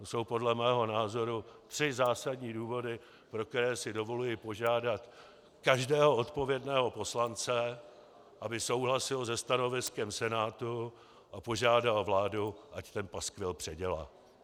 To jsou podle mého názoru tři zásadní důvody, pro které si dovoluji požádat každého odpovědného poslance, aby souhlasil se stanoviskem Senátu a požádal vládu, ať ten paskvil předělá.